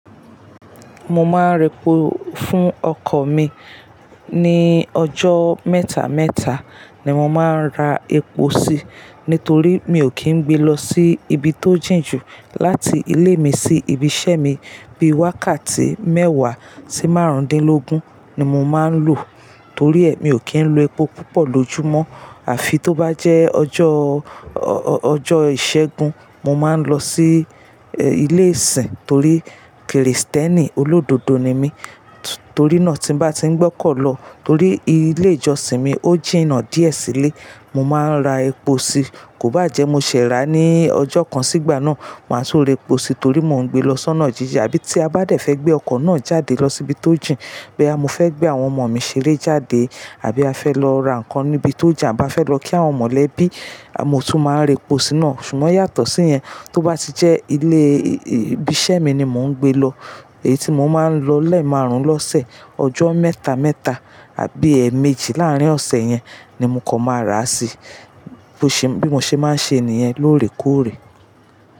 Mo máa ń repò fún ọkọ̀ mi. Ni ọjọ́ mẹ́ta mẹ́ta ni mo máa ń ra epo sí, nítorí mi ò kì n gbe lọ sí ibi tó jìn jù láti ilé mi sí ibi iṣẹ́ mi. Bí wákàtí mẹ́wàá sí márùndínlógún ni mo máa ń lò. Torí ẹ mi ò kí ń lo epo púpọ̀ lójú mọ́. Àfi tó bá jẹ́ ọjọ́, ọjọ́ ìṣẹ́gun mo máa ń lọ sí ilé ìsìn torí Kristẹni olódodo ni mí. Torí náà tí n bá ti ń gbọ́kàn lọ torí ilé ìjọsìn mi ò jìnà díẹ̀ sílé, mo máa ń ra epo sí. Kò bá jẹ́ mo ṣẹ̀ rà á ní ọjọ́ kan sígbà náà, màá tún ra epo sí torí mo ń gbe lọ sọ́nà jíja. Àbí tí a bá dẹ̀ fẹ́ gbé ọkọ̀ náà jáde lọ síbi tó jìn, boya mo fẹ́ gbé àwọn ọmọ mi ṣeré jáde àbí a fẹ́ lọ ra nǹkan níbi tó jà, a bá fẹ́ lọ kí àwọn mọ̀lẹ́bí, mo tún máa ń repò síná. Ṣùgbọ́n yàtọ̀ sí yẹn, tó bá ti jẹ́ ilé ibi iṣẹ́ mi ni mò ń gbe lọ, èyí tí mo máa ń lọ lẹ́ẹ̀ márùn lọ́sẹ̀, ọjọ́ mẹ́ta mẹ́ta àbí ẹ̀ẹ̀méjì láàrín ọ̀sẹ̀ yẹn ni mo kọ́ máa rà sí bí mo ṣe máa ń ṣe ènìyẹn lóòrèkóòrè.